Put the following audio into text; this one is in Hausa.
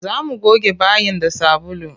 Za mu goge bayin da sabulu.